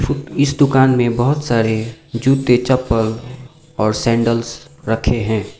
Foot इस दुकान में बहोत सारे जूते चप्पल और सैंडल्स रखें हैं।